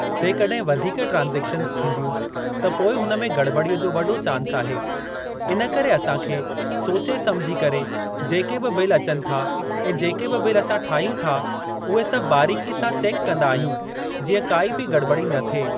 जेकॾहिं वधिक ट्रांसेक्शंस थींदियूं त पोइ हुन में गड़ॿड़ीअ जो वॾो चांस आहे। इन करे असां खे सोचे सम्झी करे जेके बि बिल अचनि था ऐं जेके बि बिल असां ठाहियूं था, उहे सभु बारीकी सां चेक कंदा आहियूं जीअं काई बि गड़िॿड़ि न थिए।